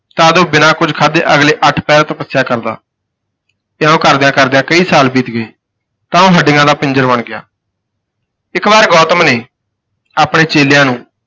ਤਦ ਉਹ ਬਿਨਾਂ ਕੁੱਝ ਖਾਧੇ ਅਗਲੇ ਅੱਠ ਪਹਿਰ ਤਪੱਸਿਆ ਕਰਦਾ ਇਉਂ ਕਰਦਿਆਂ ਕਰਦਿਆਂ ਕਈ ਸਾਲ ਬੀਤ ਗਏ ਤਾਂ ਉਹ ਹੱਡੀਆਂ ਦਾ ਪਿੰਜਰ ਬਣ ਗਿਆ। ਇੱਕ ਵਾਰ ਗੌਤਮ ਨੇ ਆਪਣੇ ਚੇਲਿਆਂ ਨੂੰ